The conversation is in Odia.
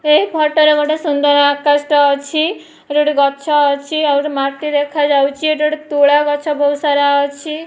ଏ ଫଟୋ ରେ ଗୋଟେ ସୁନ୍ଦର ଆକାଶ ଟେ ଅଛି ଏଠି ଗୋଟେ ଗଛ ଅଛି ଆଉ ଗୋଟେ ମାଟି ଦେଖାଯାଉଚି ଏଠି ଗୋଟେ ତୁଳା ଗଛ ବହୁତ ସାରା ଅଛି।